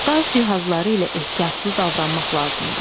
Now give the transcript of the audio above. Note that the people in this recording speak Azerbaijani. Qaz cihazları ilə ehtiyatlı davranmaq lazımdır.